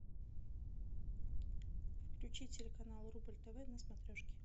включи телеканал рубль тв на смотрешке